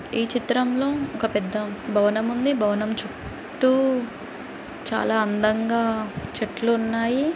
ఈ చిత్రంలో ఒక పెద్ద భవనంఉంది . భవనం చుట్టూ చాలా అందంగా చెట్లు ఉన్నాయి.